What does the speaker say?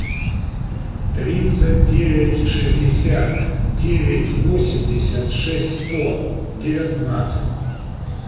тридцать девять шестьдесят девять восемьдесят шесть сто девятнадцать